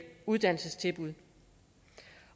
uddannelsestilbud